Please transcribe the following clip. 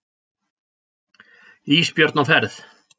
Ísbjörn á ferð.